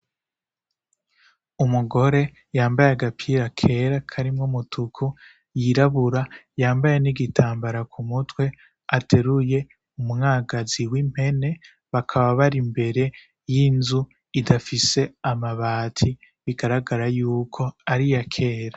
Umugore yambaye agapira kera karimwo umutuku, yirabura yambaye n'igitambara ku mutwe ateruye umwagazi w'impene, bakaba bari imbere y'inzu idafise amabati bigaragara yuko ari iyakera.